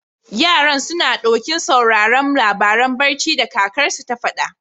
Yaran, suna ɗokin sauraren labaran barci da kakarsu ta faɗa.